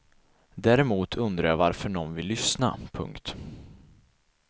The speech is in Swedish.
Däremot undrar jag varför någon vill lyssna. punkt